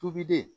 Tobilen